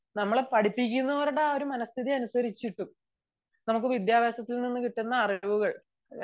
നമ്മളെ പഠിപ്പിക്കുന്നവരുടെ ഒരു മനസ്ഥിതി അനുസരിച്ചിരിക്കും നമ്മക്ക് വിദ്യാഭ്യാസത്തിൽ നിന്നും കിട്ടുന്ന അറിവുകൾ